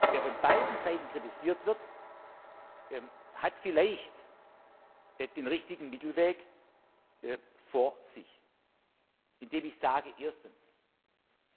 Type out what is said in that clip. Wer von beiden Seiten kritisiert wird, hat vielleicht den richtigen Mittelweg gefunden.